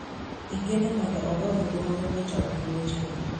Igeno mondo ogo ombulu mar wito oko wechego